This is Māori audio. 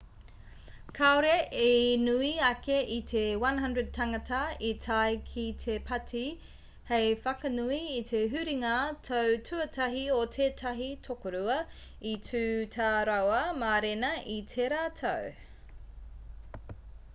kāore i nui ake i te 100 tāngata i tae ki te pāti hei whakanui i te huringa tau tuatahi o tētahi tokorua i tū tā rāua mārena i tērā tau